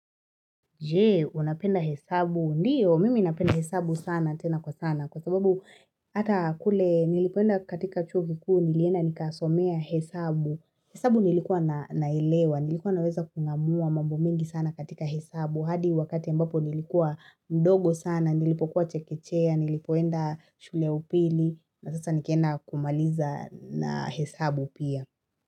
Je, unapenda hesabu. Ndiyo, mimi napenda hesabu sana, tena kwa sana. Kwa sababu, hata kule, nilipoenda katika chuo kikuu, nilienda nikasomea hesabu. Hesabu nilikuwa nailewa, nilikuwa naweza kungamua mambo mengi sana katika hesabu. Hadi wakati ambapo nilikuwa mdogo sana, nilipokuwa chekechea, nilipoenda shule ya upili, na sasa nikienda kumaliza na hesabu pia.